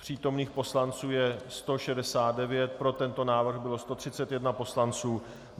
Přítomných poslanců je 169, pro tento návrh bylo 131 poslanců .